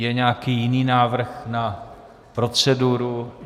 Je nějaký jiný návrh na proceduru?